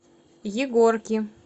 егорки